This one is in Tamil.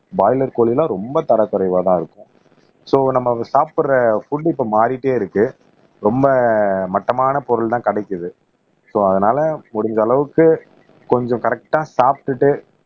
பிராய்லர் கோழி எல்லாம் ரொம்ப தரக்குறைவாதான் இருக்கும் சோ நம்ம சாப்பிடுற புட் இப்ப மாறிட்டே இருக்கு ரொம்ப மட்டமான பொருள்தான் கிடைக்குது சோ அதனால முடிஞ்ச அளவுக்கு கொஞ்சம் கரெக்ட்டா சாப்பிட்டுட்டு